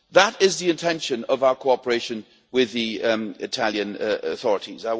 That is the intention of our cooperation with the Italian authorities.